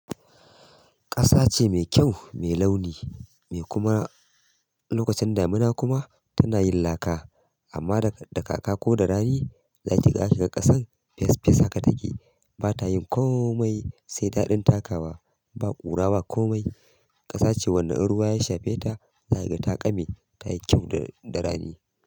Ƙasa ce mai kyau, mai launi me kuma lokacin damina kuma tana yin laka. Amma da, da kaka ko da rani, zaki, zaka ga ƙasan fesfes haka take ba ta yin komai, sai daɗin taka ba, ba ƙura ba komai. Ƙasa ce wanda ruwa ya shafe ta, za ka ga taƙame. Ta yi kyau da rani.